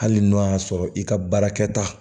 Hali n'o y'a sɔrɔ i ka baarakɛta